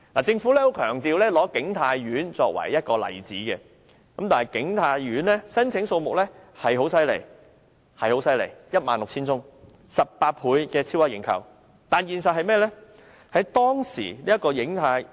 政府再三以景泰苑為例子，景泰苑的申請數目的確十分強勁，達 16,000 份，超額認購18倍，但現實是怎樣？